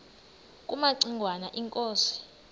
kumaci ngwana inkosi